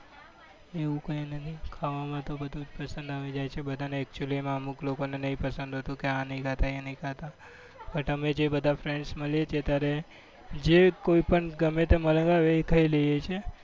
એવું કંઈ નથી ખાવામાં તો બધું જ પસંદ જાય છે, બધા ને actually માં અમુક લોકોને જ નહીં પસંદ હોતું કે આ નથી નખાતા એ નહી ખાતા, but અમે જે બધા friends મળીએ છીએ અત્યારે જે કોઈપણ મળે એ ખાઈ લઈએ છીએ.